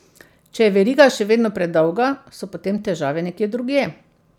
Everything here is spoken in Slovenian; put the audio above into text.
Če je veriga še vedno predolga, so potem težave nekje drugje.